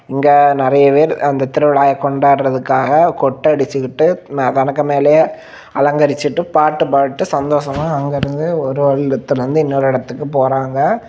இங்க நிறைய பேர் அந்த திருவிழாவை கொண்டாடதற்காக கொட்டு அடிச்சுகிட்டு தனக்கு மேலேயே அலங்கரிச்சிட்டு பாட்டு பாடிட்டு சந்தோசமா ஒரு இடத்திலிருந்து இன்னொரு இடத்துக்கு போறாங்க.